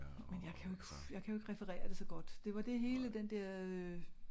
Men jeg kan jo ikke jeg kan jo ikke referere det så godt. Det var det hele den dér øh